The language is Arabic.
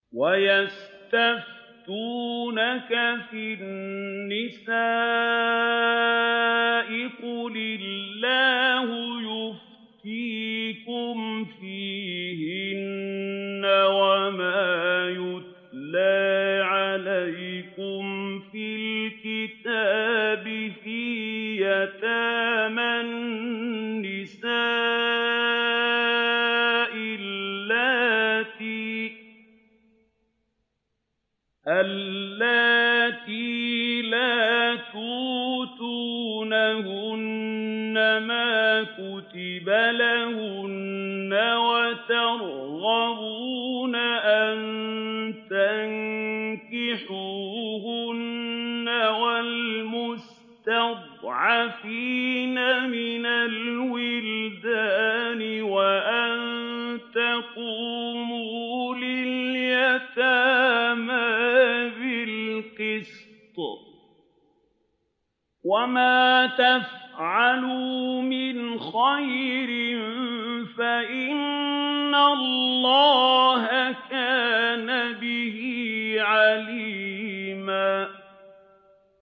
وَيَسْتَفْتُونَكَ فِي النِّسَاءِ ۖ قُلِ اللَّهُ يُفْتِيكُمْ فِيهِنَّ وَمَا يُتْلَىٰ عَلَيْكُمْ فِي الْكِتَابِ فِي يَتَامَى النِّسَاءِ اللَّاتِي لَا تُؤْتُونَهُنَّ مَا كُتِبَ لَهُنَّ وَتَرْغَبُونَ أَن تَنكِحُوهُنَّ وَالْمُسْتَضْعَفِينَ مِنَ الْوِلْدَانِ وَأَن تَقُومُوا لِلْيَتَامَىٰ بِالْقِسْطِ ۚ وَمَا تَفْعَلُوا مِنْ خَيْرٍ فَإِنَّ اللَّهَ كَانَ بِهِ عَلِيمًا